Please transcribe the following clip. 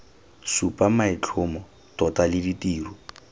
supa maitlhomo tota le ditiro